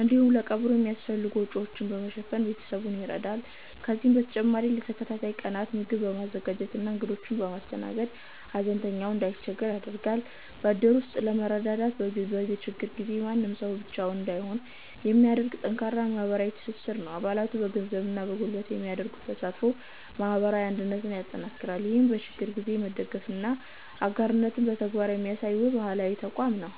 እንዲሁም ለቀብሩ የሚያስፈልጉ ወጪዎችን በመሸፈን ቤተሰቡን ይረዳል። ከዚህም በተጨማሪ ለተከታታይ ቀናት ምግብ በማዘጋጀትና እንግዶችን በማስተናገድ፣ ሐዘንተኛው እንዳይቸገር ያደርጋል። በእድር ውስጥ ያለው መረዳዳት፣ በችግር ጊዜ ማንም ሰው ብቻውን እንዳይሆን የሚያደርግ ጠንካራ ማህበራዊ ትስስር ነው። አባላቱ በገንዘብና በጉልበት የሚያደርጉት ተሳትፎ ማህበረሰባዊ አንድነትን ያጠናክራል። ይህም በችግር ጊዜ መደጋገፍንና አጋርነትን በተግባር የሚያሳይ፣ ውብ ባህላዊ ተቋም ነው።